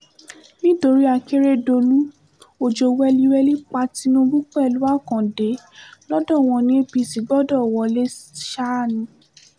nítorí akérèdòlù ọjọ́ wẹliwẹli pa tinubu pẹ̀lú akande lodò wọn ní apc gbọdọ̀ wọlé ṣáá ni